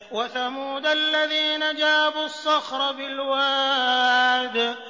وَثَمُودَ الَّذِينَ جَابُوا الصَّخْرَ بِالْوَادِ